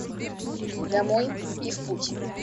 домой и в путь